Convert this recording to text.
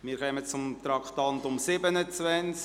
Wir kommen zum Traktandum 27: